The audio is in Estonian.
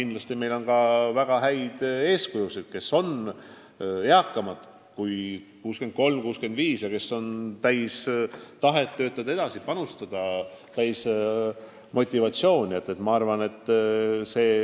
Me teame palju inimesi, kes on vanemad kui 63 või 65 aastat ja ometi täis tahet edasi töötada, anda oma panus.